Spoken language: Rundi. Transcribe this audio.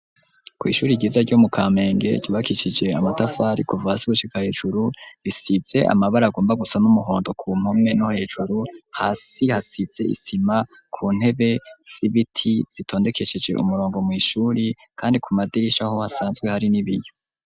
Kwishuri ryiza ryo mu kamenge ryubakicije amatafari kuvahasi gushika hejuru risize amabara agomba gusa n'umuhondo ku mpome no hejuru hasi hasize isima ku ntebe z'ibiti zitondekesheje umurongo mu ishuri kandi ku madirisha aho hasanzwe hari n'ibiyo.